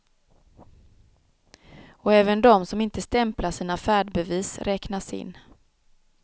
Och även de som inte stämplar sina färdbevis räknas in.